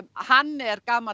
hann er gamall